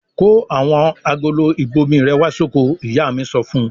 "Kó àwọn agolo ìbomirẹ̀ wá sóko!" Ìyá mi so fún un.